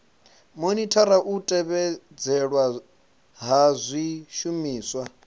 monithara u tevhedzelwa ha zwishumiswa